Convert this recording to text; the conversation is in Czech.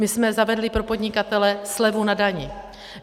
My jsme zavedli pro podnikatele slevu na dani.